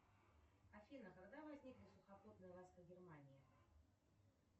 афина когда возникли сухопутные войска германии